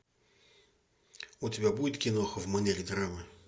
у тебя будет киноха в манере драмы